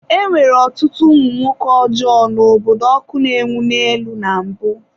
E nwere ọtụtụ ụmụ nwoke ọjọọ n’obodo ọkụ na-enwu n'elu na mbụ.